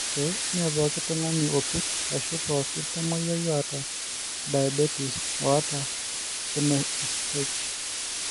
Kake, mmee pooki tung'ani opir ashu pooki tamuoyiai oata diabetes oata NASH.